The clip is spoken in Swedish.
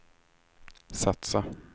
satsa